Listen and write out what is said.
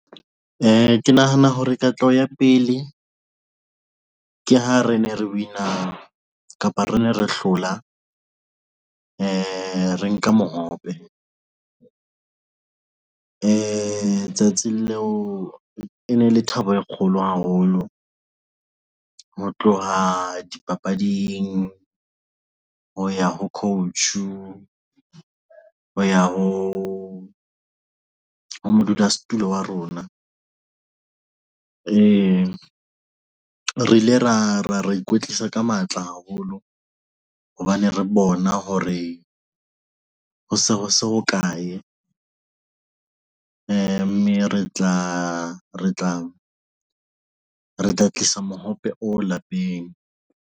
Ke nahana hore katleho ya pele ke ha ne re win-a kapa re ne re hlola re nka mohope di tsatsing leo e ne e le thabo e kgolo haholo ho tloha dipapading ho ya ho coach ho ya ho modulasetulo wa rona re ile ra ikwetlisa ka matla haholo hobane re bona hore ho se ho se ho kae, mme re tla tlisa mohope o lapeng.